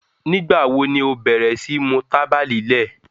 Nígba wo ni o bẹ̀rẹ̀ sí mú tàbà lílẹ̀?